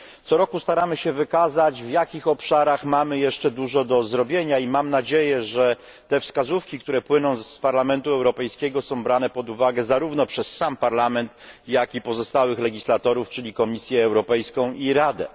Corocznie staramy się wykazać, w jakich obszarach mamy jeszcze dużo do zrobienia, i mam nadzieję, że te wskazówki, które płyną z Parlamentu Europejskiego, są brane pod uwagę zarówno przez sam Parlament, jak i pozostałych legislatorów, czyli Komisję Europejską i Radę.